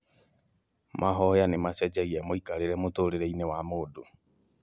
Mahoya nĩ macenjagia mũikarĩre mũtũrĩre-inĩ wa mũndũ